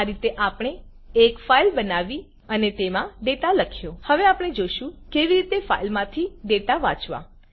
આ રીતે આપણે એક ફાઈલ બનાવી અને તેમાં ડેટા લખ્યો હવે આપણે જોશું કેવી રીતે ફાઈલ માથી ડેટા વાંચવા